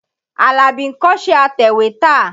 Àlàbí ń kọ́ṣẹ́ atẹ̀wétà.